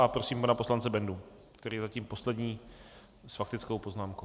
A prosím pana poslance Bendu, který je zatím poslední s faktickou poznámkou.